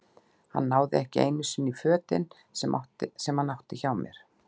Hann náði ekki einu sinni í fötin sem hann átti hjá mér.